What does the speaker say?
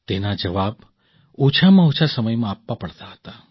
તેના જવાબ ઓછામાં ઓછા સમયમાં આપવા પડતા હતા